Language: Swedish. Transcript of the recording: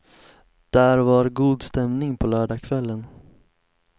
Där var god stämning på lördagskvällen.